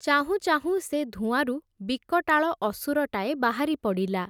ଚାହୁଁଚାହୁଁ ସେ ଧୂଆଁରୁ ବିକଟାଳ ଅସୁରଟାଏ ବାହାରିପଡ଼ିଲା ।